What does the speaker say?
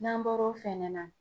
N'an bɔr'o fɛnɛ na